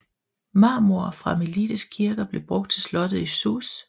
Marmor fra Melites kirker blev brugt til slottet i Sousse